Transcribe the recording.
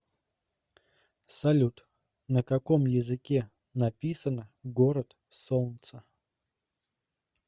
салют на каком языке написано город солнца